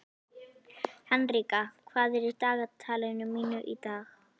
Henrika, hvað er í dagatalinu mínu í dag?